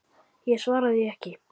Ég svara því ekki.